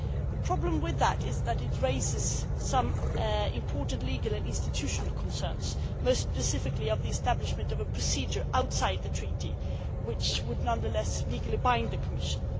The problem is that it raises some important legal and institutional concerns, most specifically regarding the establishment of a procedure outside the Treaty which would nonetheless legally bind the Commission.